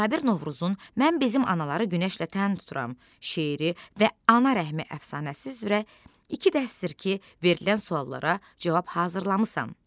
Cabir Novruzun mən bizim anaları günəşlə tən tuturam, şeiri və ana rəhmi əfsanəsi üzrə iki dərsdir ki, verilən suallara cavab hazırlamısan.